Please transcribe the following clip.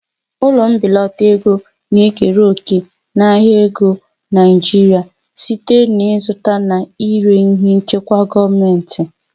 Ụlọ mbelata ego na-ekere òkè n'ahịa ego Naijiria site n'ịzụta na ire ihe nchekwa gọọmentị.